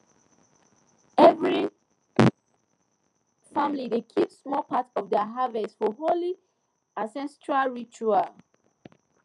every family dey keep small part of their harvest for holy ancestral ritual